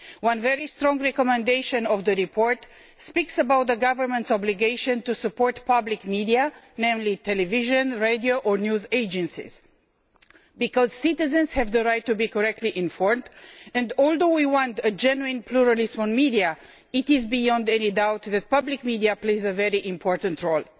One very strong recommendation in that report speaks about the governments' obligation to support public media, namely television, radio or news agencies, because citizens have the right to be correctly informed and, although we want a genuine pluralist media, it is beyond any doubt that public media play a very important role.